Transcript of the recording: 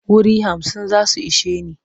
Wuri hamsin za su ishe ni.